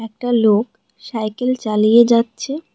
একটা লোক সাইকেল চালিয়ে যাচ্ছে।